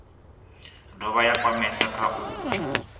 dovha ya kwamea kha u